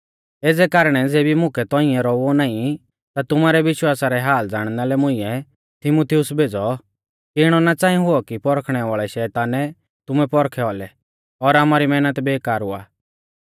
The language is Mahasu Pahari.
एज़ै कारणै ज़ैबै मुकै तौंइऐ रौउऔ नाईं ता तुमारै विश्वासा रै हाल ज़ाणना लै मुइंऐ तीमुथियुस भेज़ौ कि इणौ ना च़ांई हुऔ कि परखणै वाल़ै शैतानै तुमै पौरखै औलै और आमारी मैहनत बेकार हुआ